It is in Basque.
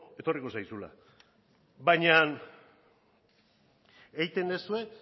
etorriko zaizula baina egiten duzue